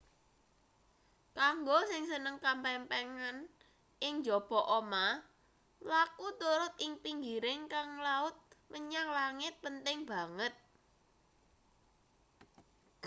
kanggo sing seneng kamempengan ing njaba omah mlaku turut ing pinggiring gang laut menyang langit penting banget